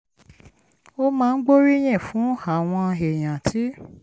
ó máa ń gbóríyìn fún àwọn èèyàn tí